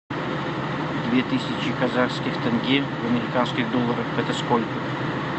две тысячи казахских тенге в американских долларах это сколько